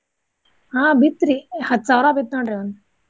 ಹಾ ಬಿತ್ರೀ ಹತ್ತ್ ಸಾವ್ರ ಬಿತ್ತ್ ನೋಡ್ರಿ ಒಂದ್.